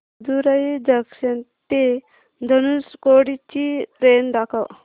Madurai junction ते धनुषकोडी ची train दाखव